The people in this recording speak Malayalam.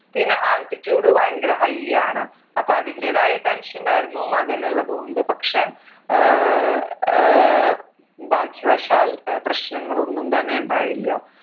പിന്നെ altitude ഭയങ്കര high ആണ് അപ്പൊ അതിന്റെതായ tension ഉണ്ടായിരുന്നു മകൻ ഉള്ളത് കൊണ്ട് പക്ഷെ ഏർ ഭാഗ്യവശാൽ ഏർ പ്രശ്നങ്ങൾ ഒന്നും തന്നെ ഉണ്ടായില്ല